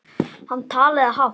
Hann talaði hátt.